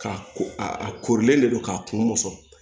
Ka ko a ko korolen de don k'a kun mɔsɔn